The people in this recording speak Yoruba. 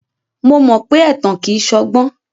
Mo mọ pé ẹ̀tàn kìí ṣọgbọ́n.